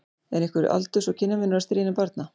Er einhver aldurs- og kynjamunur á stríðni barna?